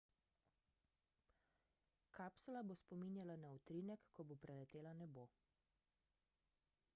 kapsula bo spominjala na utrinek ko bo preletela nebo